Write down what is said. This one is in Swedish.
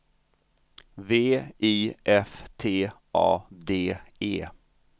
V I F T A D E